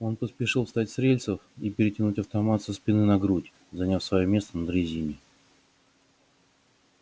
он поспешил встать с рельсов и перетянуть автомат со спины на грудь занять своё место на дрезине